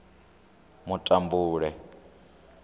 mutambule